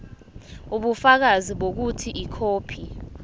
ubufakazi bokuthi ikhophi